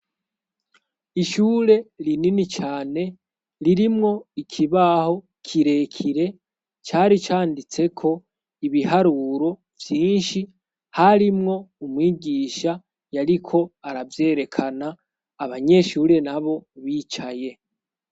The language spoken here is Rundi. Ishure rinini cane ririmwo ikibaho kirekire cari canditseko ibiharuro vyinshi harimwo umwigisha yariko aravyerekana abanyeshure na bo bicaye.